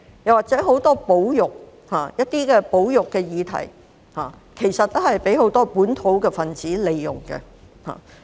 此外，就很多保育議題，其實均被很多本土分子所利用。